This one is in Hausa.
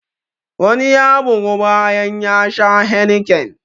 Wani ya bygu bayan ya sha heineken.